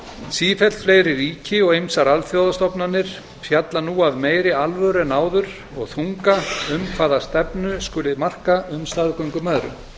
sífellt fleiri ríki og ýmsar alþjóðastofnanir fjalla nú af meiri alvöru en áður og þunga um hvaða stefnu skuli marka um staðgöngumæðrun